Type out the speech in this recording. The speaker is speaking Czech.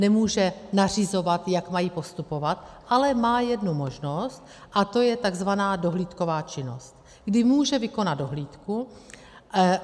Nemůže nařizovat, jak mají postupovat, ale má jednu možnost, a to je tzv. dohlídková činnost, kdy může vykonat dohlídku.